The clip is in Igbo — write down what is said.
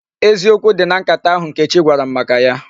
Eziokwu dị na nkata ahụ Nkechi gwara m maka ya.